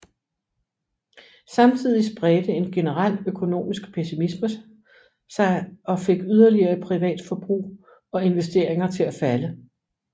Samtidig spredte en generel økonomisk pessimisme sig og fik yderligere privat forbrug og investeringer til at falde